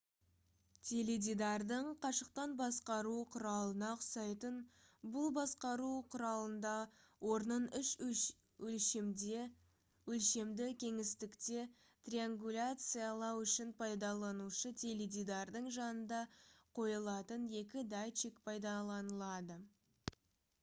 теледидардың қашықтан басқару құралына ұқсайтын бұл басқару құралында орнын үш өлшемді кеңістікте триангуляциялау үшін пайдаланушы теледидарының жанында қойылатын екі датчик пайдаланылады